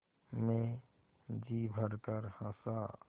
मैं जी भरकर हँसा